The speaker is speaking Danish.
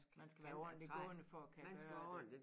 Man skal være ordenligt gående for at kan gøre det